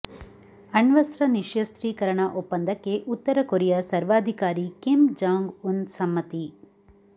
ಅಣ್ವಸ್ತ್ರ ನಿಶ್ಯಸ್ತ್ರೀಕರಣ ಒಪ್ಪಂದಕ್ಕೆ ಉತ್ತರ ಕೊರಿಯಾ ಸರ್ವಾಧಿಕಾರಿ ಕಿಮ್ ಜಾಂಗ್ ಉನ್ ಸಮ್ಮತಿ